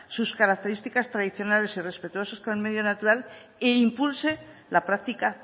sus características tradicionales y respetuosos con el medio natural e impulse la práctica